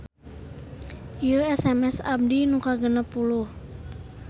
Ieu SMS abdi nu kagenep puluh